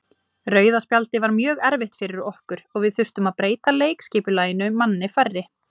Rauða spjaldið var mjög erfitt fyrir okkur og við þurftum að breyta leikskipulaginu manni færri.